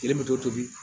Yiri bɛ tobi